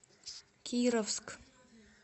кировск